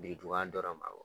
Birintuban dɔrɔn de ma bɔ